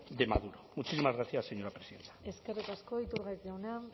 de maduro muchísimas gracias señora presidenta eskerrik asko iturgaiz jauna